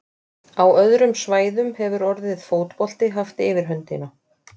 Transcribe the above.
Á öðrum svæðum hefur orðið fótbolti haft yfirhöndina.